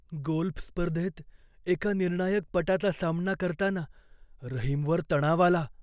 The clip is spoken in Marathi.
गोल्फ स्पर्धेत एका निर्णायक पटाचा सामना करताना रहीमवर तणाव आला.